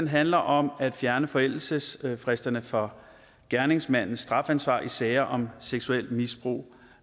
handler om at fjerne forældelsesfristerne for gerningsmandens strafansvar i sager om seksuelt misbrug